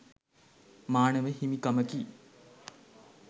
මානව හිමිකමකි.